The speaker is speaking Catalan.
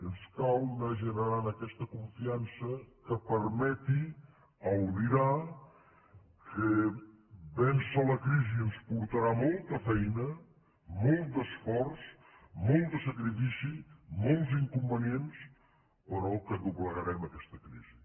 ens cal anar generant aquesta confiança que permeti albirar que vèncer la crisi ens portarà molta feina molt d’esforç molt de sacrifici molts inconvenients però que doblegarem aquesta crisi